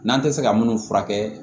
N'an tɛ se ka minnu furakɛ